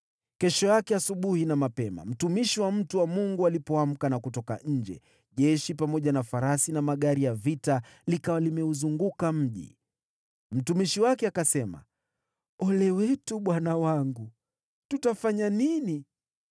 Kesho yake asubuhi na mapema, mtumishi wa mtu wa Mungu alipoamka na kutoka nje, jeshi, pamoja na farasi na magari ya vita, likawa limeuzunguka mji. Mtumishi wake akasema, “Ole wetu, bwana wangu! Tutafanya nini?”